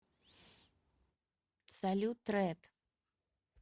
салют рэд